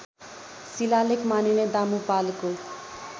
शिलालेख मानिने दामुपालको